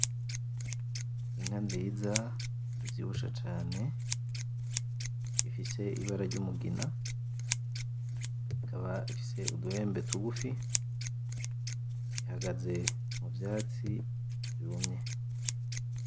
Inka nziza ivyibushe cane ifise ibara ryumugina ikaba ifise uduhembe tugufi ihagaze muvyatsi vyumye